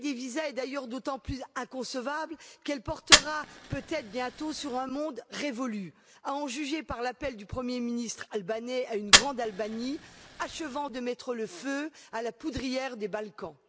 La levée des visas est d'ailleurs d'autant plus inconcevable qu'elle portera peut être bientôt sur un monde révolu, à en juger par l'appel du Premier ministre albanais à une Grande Albanie, qui achève de mettre le feu à la poudrière des Balkans.